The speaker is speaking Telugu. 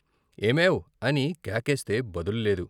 ఏమేవ్ అని కేకేస్తే బదులు లేదు.